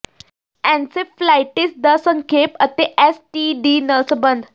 encephalitis ਦਾ ਸੰਖੇਪ ਅਤੇ ਐੱਸ ਟੀ ਡੀ ਨਾਲ ਸਬੰਧ